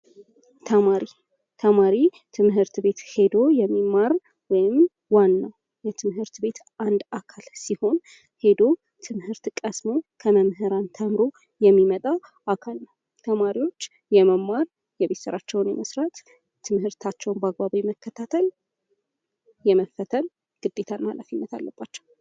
ተማሪ ትምህርት ቤት ሄዶ የሚማሩት ወይም ዋናው የትምህርት ቤት አንድ አካል ሲሆን፤ ሄዶ ትምህርት ቀስሞ ከመምህራን ተምሮ የሚመጣው አካል ነው። ተማሪዎች የመማር ፣ የቤት ስራቸውን የመስራት ፣ትምህርታቸውን በአግባቡ የመከታተል፣ የመፈተን ግዴታና ኃላፊነት አለባቸው።